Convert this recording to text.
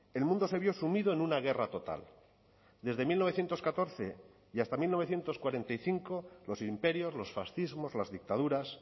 el mundo se vio sumido en una guerra total desde mil novecientos catorce y hasta mil novecientos cuarenta y cinco los imperios los fascismos las dictaduras